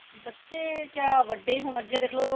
ਬੱਚੇ ਕਿਆ ਵੱਡੇ ਹੁਣ ਅੱਗੇ ਦੇਖਲੋ